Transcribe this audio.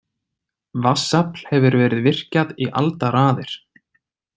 Vatnsafl hefur verið virkjað í aldaraðir.